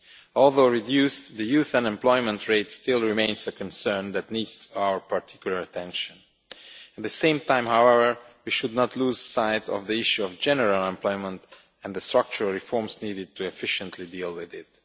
Although reduced, the youth unemployment rate still remains a concern that needs our particular attention. At the same time, however, we should not lose sight of the issue of general unemployment and the structural reforms needed to efficiently deal with it.